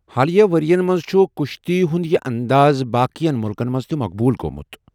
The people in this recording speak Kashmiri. حالٕے ؤرۍ یَن منٛز چھُ کُشتی ہُنٛد یہِ انٛدازِ باقِٮ۪ن مُلکَن منٛز تہِ مقبوٗل گوٚومُت۔